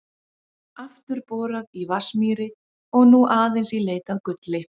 Aftur borað í Vatnsmýri og nú aðeins í leit að gulli.